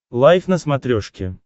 лайф на смотрешке